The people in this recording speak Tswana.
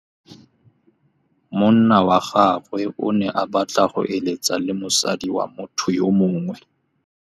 Monna wa gagwe o ne a batla go êlêtsa le mosadi wa motho yo mongwe.